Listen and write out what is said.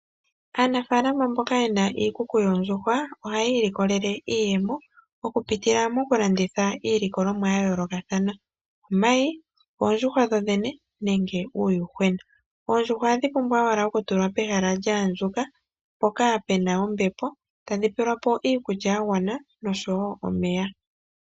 Aanafalama mboka yena iikuku yoondjuhwa ohayi ilikolelemo iiyemo oku pitila moku landitha iilikolomwa yayoolokathana. Omayi, oondjuhwa dhodhene nenge uuyuhwena. Oondjuhwa ohadhi pumbwa owala oku tulwa pehala lyaandjuka mpoka pena ombepo tadhi pelwapo iikulya yagwana noshowo omeya.